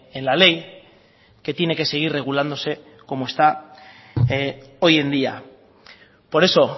en la ley que tiene que seguir regulándose como está hoy en día por eso